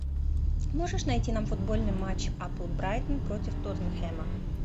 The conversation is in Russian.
можешь найти нам футбольный матч апл брайтон против тоттенхэма